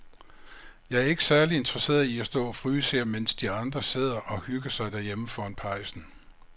Jeg er ikke særlig interesseret i at stå og fryse her, mens de andre sidder og hygger sig derhjemme foran pejsen.